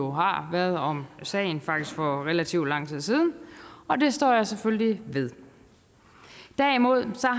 har været om sagen faktisk for relativt lang tid siden og det står jeg selvfølgelig ved derimod